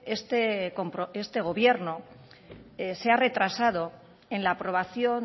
este gobierno se ha retrasado en la aprobación